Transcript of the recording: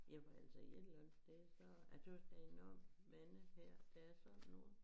Jamen altså i et eller andet sted så er tøs der er nogen mange her der er sådan nogen